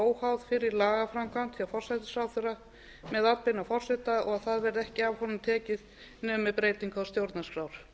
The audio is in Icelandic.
óháð fyrri lagaframkvæmd hjá forsætisráðherra með atbeina forseta og það verði ekki af honum tekið nema með breytingu á stjórnarskrá